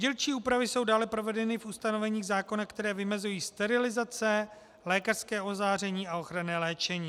Dílčí úpravy jsou dále provedeny v ustanoveních zákona, která vymezují sterilizace, lékařské ozáření a ochranné léčení.